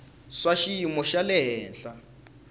swa xiyimo xa le henhla